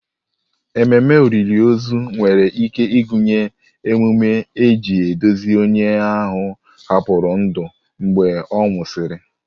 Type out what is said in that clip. Ememe olili ozu nwere ike ịgụnye emume iji duzie onye ahụ hapụrụ ndụ mgbe a nwụsịrị.